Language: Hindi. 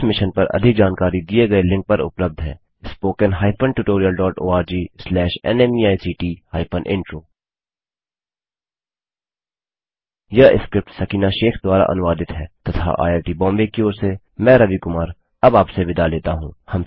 इस मिशन पर अधिक जानकारी दिए गए लिंक पर उपलब्ध है httpspoken tutorialorgNMEICT Intro यह स्क्रिप्ट सकीना शेख द्वारा अनुवादित है तथा आईआई टी बॉम्बे की ओर से मैं रवि कुमार अब आपसे विदा लेता हूँ